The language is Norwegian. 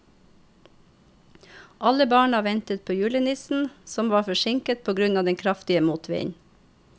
Alle barna ventet på julenissen, som var forsinket på grunn av den kraftige motvinden.